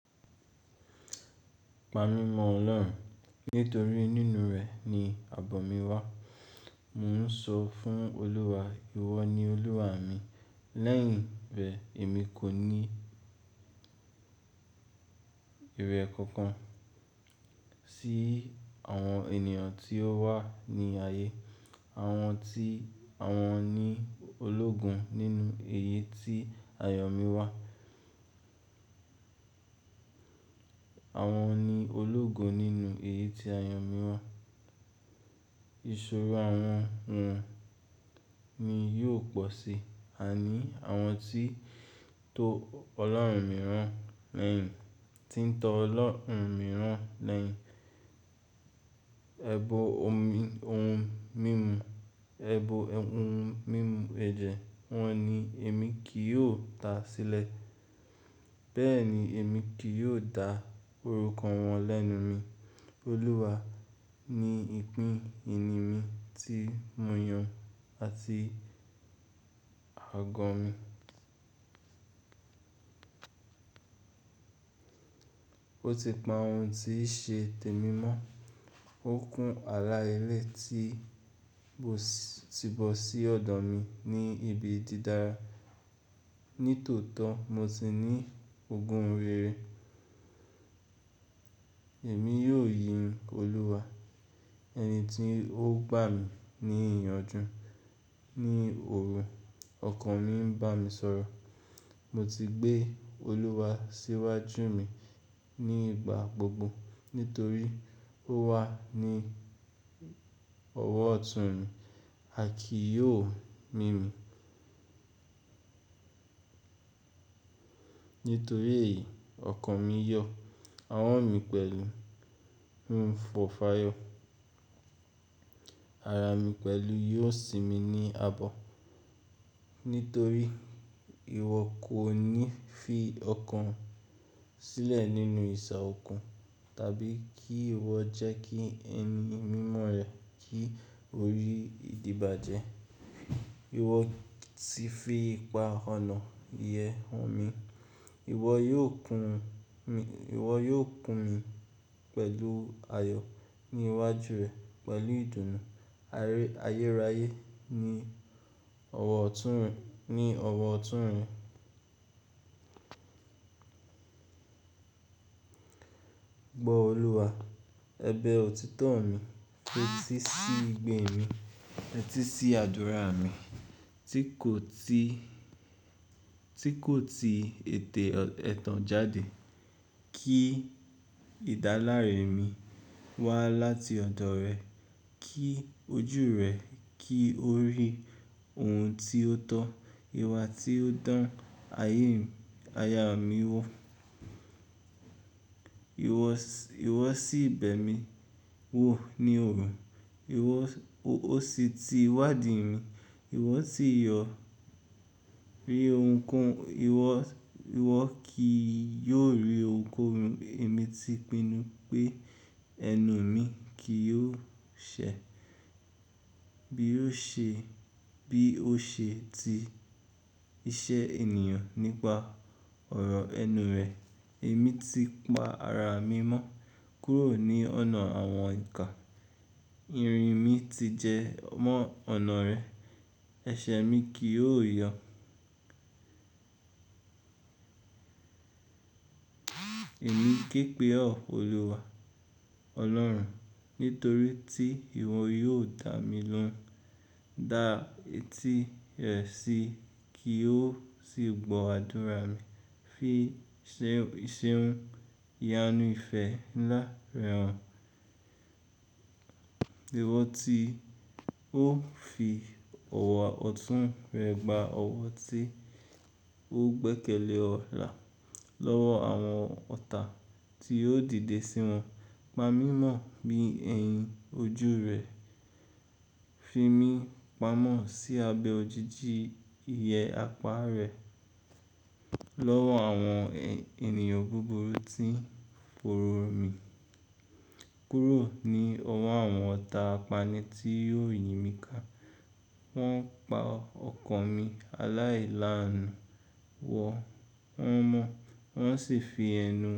Pa mi mọ Ọlọ́run, nítorí nínú rẹ ni àbọ̀ mi wà. Mo n sọ fún Olúwa, ìwọ ni Olúwa mi, lẹ́yìn rẹ èmi kò ní ìrẹ̀ kankan sí àwọn ènìyàn tí ó wà ní ayé. Àwọn tí àwọn ni ológun nínú èyí tí ayọ̀ mi wà. Àwọn ni ológo nínú èyí tí ayọ̀ mi wà. Ìṣòro àwọn wọn ni yóò pọ̀ si, àní àwọn tí tó Ọlọ́run mìíràn lẹ́yìn, tí ń tọ́ Ọlọ́run mìíràn lẹ́yìn. Ẹ̀bọ̀ ohun mímu, ẹ̀bọ̀ ohun mímu ẹ̀jẹ̀ wọn ni èmi kì yóò ta sílẹ̀. Bẹ́ẹ̀ ni èmi kì yóò dá orúkọ wọn lẹ́nu mi. Olúwa ni ìpín ìní mi tí mo yàn àti àgọ́ mi. Ó ti pa ohun tí í ṣe tèmi mọ́, ó kún àlá elé ti bọ́ sí ọ̀dọ̀ mi ní ibi dídára. Nítòótọ́ mo ti ní ogún rere. Èmi yóò yin Olúwa, ẹni tí ó gbà mí ní ìyanjú. Ni òru ọkàn mi ń bá mi sọ̀rọ̀. Mo ti gbé Olúwa síwájú mi nígbà gbogbo nítorí ó wà ní ọwọ́ ọ̀tún mi, a kì yóò mí mi. Nítorí èyí, ọkàn mi yọ̀, àwọ̀ mi pẹ̀lú hun fọ́fáyọ̀. Ara mi pẹ̀lú yóò sinmi ní àbọ̀. Nítorí ìwọ kò ní fi ọkàn sílẹ̀ nínú ìṣà òkun tàbí kí ìwọ jẹ́ kí ẹni mímọ́ rẹ kí orí ìdíbàjẹ́. Ìwọ ti fi ipa ọ̀nà ìyẹ́ hàn mi. Ìwọ yóò kun mi, ìwọ yóò kun mi pẹ̀lú ayọ̀ ní iwájú rẹ pẹ̀lú ìdùnnú ayérayé ní ọwọ́ ọ̀tún rẹ, ní ọwọ́ ọ̀tún rẹ. Gbọ́ Olúwa, ẹbẹ̀ òtítọ́ mi, fetí sí ìgbín mi, fetí sí àdúrà mi tí kò ti, tí kò ti ètè ẹtan jade. Kí ìdáláre mi wá láti ọ̀dọ̀ rẹ, kí ojú rẹ kí ó rí ohun tí ó tọ́, ìwà tí ó dán ayé mi, aya mi wò. Ìwọ sì bẹ́ mi wò ní òrùn, ìwọ ó sì ti wádìí mi, ìwọ tí yọ̀ rí ohunkóhun, ìwọ, ìwọ kì yóò rí ohunkóhun. Èmi ti pinnu pé ẹnu mi kì yóò ṣẹ̀ bí ó ṣe, bí ó ṣe ti iṣẹ́ ènìyàn nípa ọ̀rọ̀ ẹnu rẹ̀. Èmi ti pa ara mi mọ́ kúrò ní ọ̀nà àwọn ikà. Irin mi ti jẹ mọ́ ọ̀nà rẹ, ẹsẹ̀ mi kì yóò yọ̀. Èmi ń ké pe ọ́ Olúwa Ọlọ́run nítorí tí ìwọ yóò dà mí lóhùn. Da eti rẹ sí i kí ó sì gbọ́ àdúrà mi. Fi iṣẹ́ hun yánu ìfẹ́ ńlá rẹ hàn. Ìwọ tí ó fi ọwọ́ ọ̀tún rẹ gba ọwọ́ tí ó gbẹ́kẹ̀lé ọ̀la lọ́wọ́ àwọn ọ̀tá tí ó dìde sí wọn. Pa mi mọ̀ bí ẹ̀yin ojú rẹ, fi mí pamọ́ sí abẹ́ òjìji iye apá rẹ lọ́wọ́ àwọn ènìyàn búburú tí ń fòòró mi kúrò ní ọwọ́ àwọn ọ̀tá apánì tí yóò yin mí ká. Wọn pa ọkàn mi aláìlánu wò, wọ́n mọ̀, wọ́n sì fi ẹnu wọn.